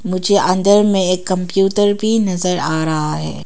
मुझे अंदर में एक कंप्यूटर भी नजर आ रहा है।